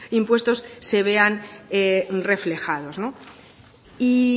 impuestos se vean reflejados y